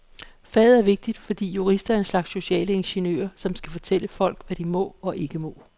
Faget er vigtigt, fordi jurister er en slags sociale ingeniører, som skal fortælle folk, hvad de må og ikke må.